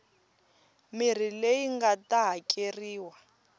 mirhi leyi nga ta hakeriwa